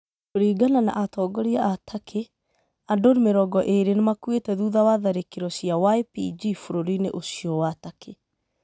Kuringana na atongoria a Turkey, andũ mĩrongo ĩrĩ nĩ makuĩte thutha wa tharĩkĩro cia YPG bũrũri-inĩ ũcio wa Turkey.